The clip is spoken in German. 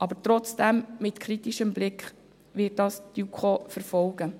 Die JuKo wird dies mit kritischem Blick verfolgen.